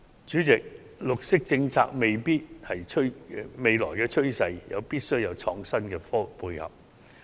主席，綠色政策是未來的趨勢，必須有創新科技的配合。